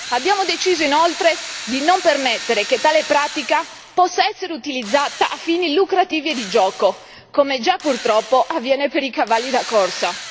Abbiamo deciso inoltre di non permettere che tale pratica possa essere utilizzata a fini lucrativi e di gioco, come già purtroppo avviene per i cavalli da corsa.